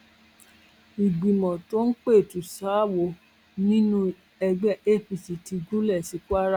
ìgbìmọ tó ń pẹtù ṣaáwọ nínú ẹgbẹ apc ti gúnlẹ sí kwara